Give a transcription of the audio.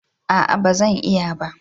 Aa bazan iya ba